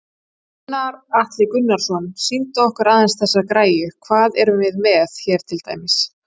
Gunnar Atli Gunnarsson: Sýndu okkur aðeins þessa græju, hvað erum við með hér til dæmis?